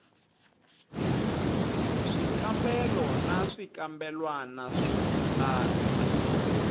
swikambelo na swikambelwana swo tano